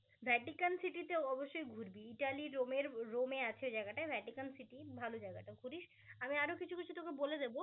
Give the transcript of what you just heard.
Vatican সিটিতে অবশ্যই ঘুরবি ইতালি রোমের রোমে আছে জায়গাটা ভ্যাটিকান সিটি ভাল জায়গাটা ঘুরিস আমি আরো কিছু কিছু তোকে বলে দেব